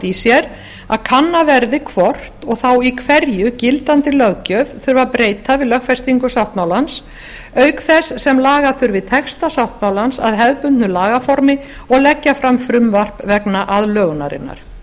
í sér að kannað verði hvort og þá hverju í gildandi löggjöf þurfi að breyta við lögfestingu sáttmálans auk þess sem laga þurfi texta sáttmálans að hefðbundnu lagaformi og leggja fram frumvarp vegna aðlögunarinnar